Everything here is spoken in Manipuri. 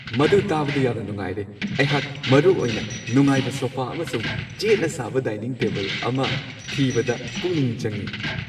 ꯃꯗꯨ ꯇꯥꯕꯗ ꯌꯥꯝꯅ ꯅꯨꯡꯉꯥꯏꯔꯦ! ꯑꯩꯍꯥꯛ ꯃꯔꯨꯑꯣꯏꯅ ꯅꯨꯡꯉꯥꯏꯕ ꯁꯣꯐꯥ ꯑꯃꯁꯨꯡ ꯆꯦꯠꯅ ꯁꯥꯕ ꯗꯥꯏꯅꯤꯡ ꯇꯦꯕꯜ ꯑꯃ ꯊꯤꯕꯗ ꯄꯨꯛꯅꯤꯡ ꯆꯪꯉꯤ ꯫